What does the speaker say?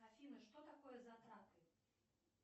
афина что такое затраты